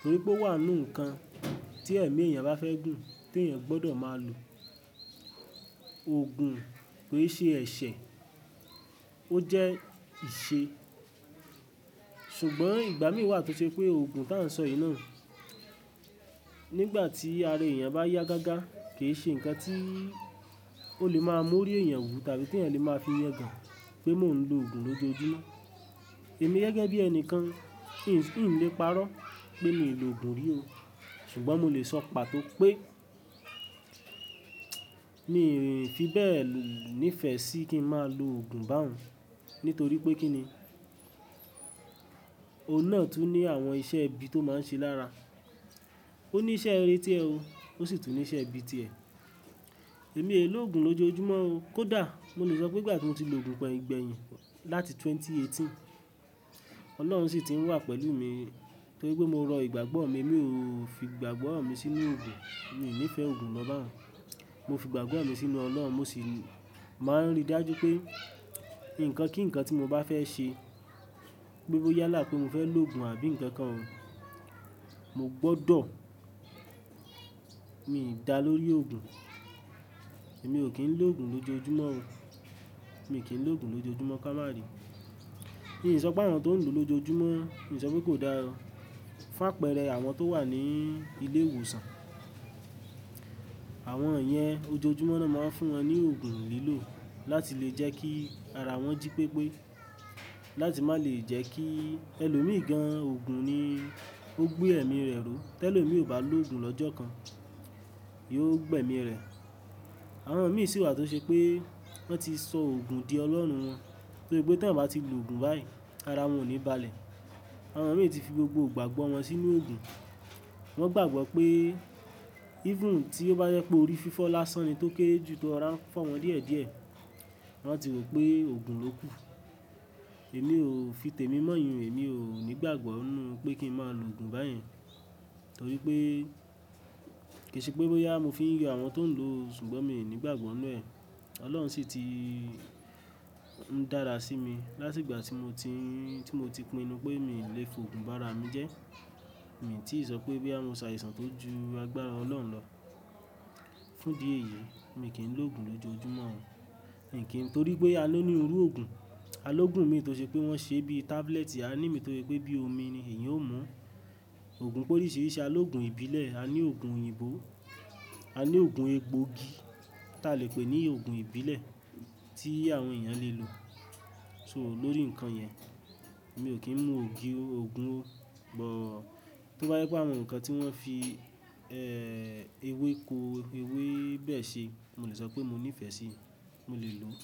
Torí pé ó wà nú nǹkan tí ẹ̀mí èèyàn bá fẹ́ gùn, te èèyàn gbọ́dọ̀ máa lò. Òògùn ki ì ṣe ẹ̀ṣẹ̀, ó jẹ́ ìṣe. Ṣùgbọ́n ìgbà mìí wà tó ṣe pé òògùn tà ń sọ yìí náà, nígbà tí ara èèyàn bá yá gágá, kì í ṣe nǹkan tí ó lè máa mú orí èèyàn wú tàbí tí èèyàn lè máa fi yegàn pé mo ń lo òògùn lójoojúmọ́. Èmi gẹ́gẹ́ bí ẹnìkan, n lè parọ́ pé mi lo òògùn rí o. Ṣùgbọ́n mo lè sọ pàtó pé mìí fi bẹ́ẹ̀ ní ìfẹ́ sí kí n máa lo òògùn bá òun. Nítorí pé kí ni? Òun náà tún ní àwọn iṣẹ́ ibi tó máa ń ṣe lára. Ó ní iṣẹ́ reré tiẹ̀ o, ó sì tún ní iṣẹ́ ibi tiẹ̀. Èmi e lo òògùn lójoojúmọ́ o. Kódà mo lè sọ pé nígbà tí mo ti lo òògùn gbẹ́yìn láti ẹgbẹ̀rún méjì ó lé méjìdínlógún, Ọlọ́run ṣì ti ń wà pẹ̀lú mi, torí pé mo rọ ìgbàgbọ́ mi, mi ò fi ìgbàgbọ́ mi sínú òògùn. Mi ò ní ìfẹ́ òògùn lọ́ bàhun Mo fi ìgbàgbọ́ mi sínú Ọlọ́run, mo sì máa ń rí dájú pé nǹkan kí nǹkan tí mo bá fẹ́ ṣe, gbogbo yálà pé mo fẹ́ lo òògùn àbí ǹkan kan, mo gbọ́dọ̀, mi dà lórí òògùn. Èmi ò kí ń lo òògùn lójoojúmọ́ o. Mi kì í lo òògùn lójoojúmọ́ ká máa bì. Mi ò sọ pé àwọn tó ń lò lójoojúmọ́, mi ò sọ pé kò dá ó Fá perẹ́ àwọn tó wà ní ilé ìwòsàn, àwọn yen ójoojúmọ́ ló máa ń fún wọn ní òògùn lílò láti lè jẹ́ kí ara wọn jí pépé. Láti má lè jẹ́ kí ẹlòmí gan-an òògùn ni ó gbé ẹ̀mí rẹ̀ ró. Tẹ́lo mi ò bá lo òògùn lọ́jọ́ kan, yóò gbẹ́ mi rẹ. Àwọn mìí sì wà tó ṣe pé wọ́n ti sọ òògùn di ọlọ́run wọn, torí pé tí wọ́n bá ti lo òògùn báyìí, ara wọn ò ní balẹ̀. Àwọn mìí ti fi gbogbo ìgbàgbọ́ wọn sínú òògùn. Wọ́n gbàgbọ́ pé, even tí ó bá jẹ́ pé orí fífọ́ lásán ni tó kére ju tó rora ń fo wọn díẹ̀ díẹ̀, wọ́n ti rò pé òògùn ló kù. Èmi ò fi tèmi mọ yìn un, èmi ò ní gbàgbọ́ nú pé kí n máa lo òògùn báyen. Torí pé kì í ṣe pé bóyá mo fi ń yo àwọn tó ń lò ó, ṣùgbọ́n mi ní gbàgbọ́ inú ẹ. Ọlọ́run ṣì ti ń dára sí mi láti ìgbà tí mo ti, tí mo ti pinnu pé mi lè fòògùn bá ara mi jẹ́. Mi ti sọ pé boyà mo ṣàìsàn tó ju agbára Ọlọ́run lọ, fún di èyí mi kì ń lo òògùn lójoojúmọ́ o. Mi kì ń, torí pé a ló ní irú òògùn. A ló òògùn mìí tó ṣe pé wọ́n ṣe bí i tábúlẹ̀tì, a ní mìí tó jẹ́ pé bí i omi ni èèyàn ó mú. Òògùn pé oríṣiríṣi, a ní òògùn ìbílẹ̀, a ní òògùn òyìnbó, a ní òògùn egbòogi tí a lè pè ní òògùn ìbílẹ̀ tí àwọn èèyàn lè lò. So lórí nǹkan yẹn, mi ò kí ń mu òògùn o. Bó tó bá jẹ́ pé àwọn nǹkan tí wọ́n fi ewéko, ewé bẹ́ẹ̀ se, mo lè sọ pé mo ní ìfẹ́ sí i, mo lè lò ó.